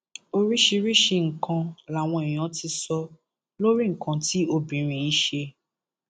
oríṣiríṣiì nǹkan làwọn èèyàn ti sọ lórí nǹkan tí obìnrin yìí ṣe